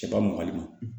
Cɛba mɔkɔli ma